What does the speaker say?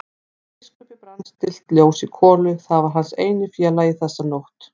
Hjá biskupi brann stillt ljós í kolu, það var hans eini félagi þessa nótt.